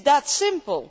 It is that simple.